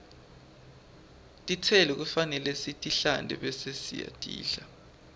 tistelo kufanele sitihlante bese sitidla